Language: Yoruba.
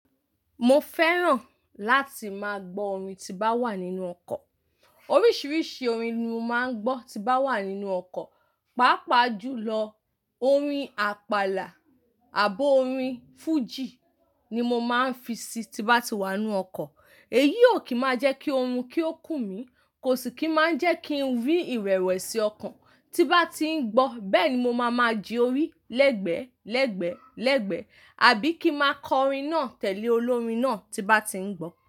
Mo fẹ́ràn láti máa gbọ́ orin tí bá wà nínú ọkọ̀. Oríṣiríṣi orin ni mo máa ń gbọ́ tí bá wà nínú ọkọ̀, pàápàá jù lọ orin àpàlà àbo orin fújì ni mo máa ń fi sí tí bá ti wà nínú ọkọ̀. Èyí ò kí máa jẹ́ kí oorun kí ó kù mí, kò sì kí máa ń jẹ́ kí n rí ìrẹ̀wẹ̀sì ọkàn tí bá ti ń gbọ́. Bẹ́ẹ̀ ni mo máa máa jí orí lẹ́gbẹ̀ẹ́, lẹ́gbẹ̀ẹ́, lẹ́gbẹ̀ẹ́, àbí kí máa kọ orin náà tẹ̀lé olórin náà tí bá ti ń gbọ́.